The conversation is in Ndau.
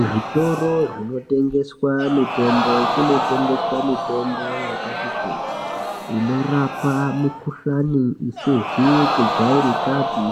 Zvitoro zvinotengeswa mitombo kunotengeswa mitombo yakati kuti inorapa mukuhlani isizi kujairikapi